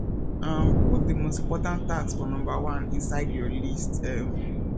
um put the most important tasks for number one inside your list um